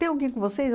Tem alguém com vocês?